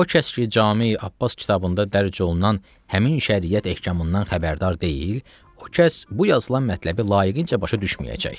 O kəs ki, Cami Abbas kitabında dərc olunan həmin şəriət ehkamından xəbərdar deyil, o kəs bu yazılan mətləbi layiqincə başa düşməyəcək.